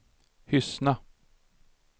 Hyssna